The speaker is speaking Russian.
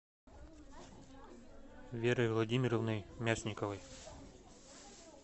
верой владимировной мясниковой